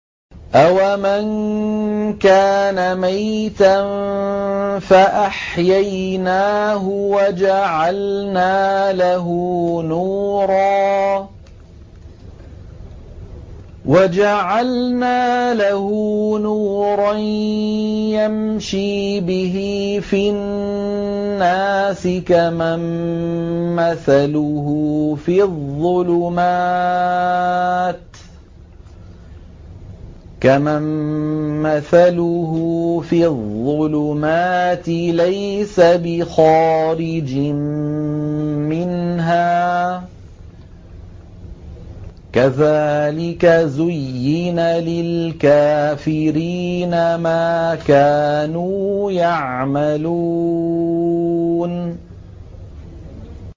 أَوَمَن كَانَ مَيْتًا فَأَحْيَيْنَاهُ وَجَعَلْنَا لَهُ نُورًا يَمْشِي بِهِ فِي النَّاسِ كَمَن مَّثَلُهُ فِي الظُّلُمَاتِ لَيْسَ بِخَارِجٍ مِّنْهَا ۚ كَذَٰلِكَ زُيِّنَ لِلْكَافِرِينَ مَا كَانُوا يَعْمَلُونَ